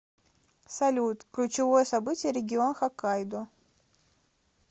салют ключевое событие регион хоккайдо